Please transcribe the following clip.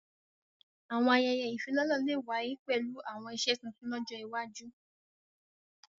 Àwọn àyẹyẹ ifilọlẹ le wàye pẹlu àwọn iṣe tuntun lọjọ iwaju.